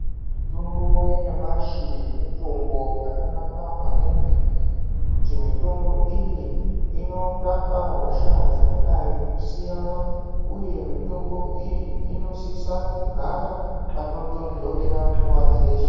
Mutombo yenyamashi mitombo yakanaka maningi ngekuti mitombo iyi inorapa hosha dzakadai kusiyana, uye mitombo iyi inosisa kugara panotondorera nguva dzeshe.